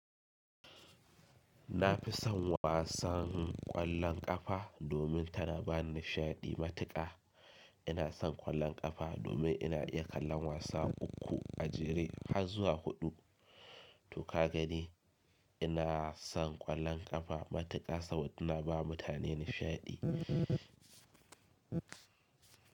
Na fi son wasan ƙwallon ƙafa domin tana ba ni nishaɗi matuƙa. Ina son ƙwallon ƙafa domin ina iya kallon wasa uku a jere har zuwa huɗu. To ka gani ina son ƙwallon ƙafa matuƙa saboda tana ba mutane nishaɗi.